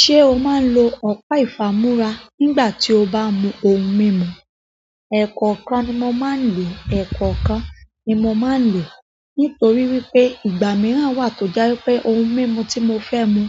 Ṣé o máa ń lò ọ̀pá ìfà múra nígbà tí o bá mú ohun mímu? Ẹ̀kọ́ kan ni mo máa ń lò, ẹ̀kọ́ kan ni mo máa ń lò. Nítorí wípé ìgbà mìíràn wà tó jẹ́ wípé ohun mímu tí mo fẹ́ mú,